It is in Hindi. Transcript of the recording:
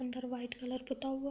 अंदर व्हाइट कलर पुता हुआ --